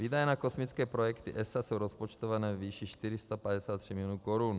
Výdaje na kosmické projekty ESA jsou rozpočtované ve výši 453 milionů korun.